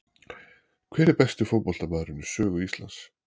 Hver er besti fótboltamaðurinn í sögu Íslands?